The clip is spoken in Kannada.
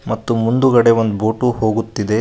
ಮತ್ತು ಮುಂದುಗಡೆ ಒಂದು ಬೋಟು ಹೋಗುತ್ತಿದೆ.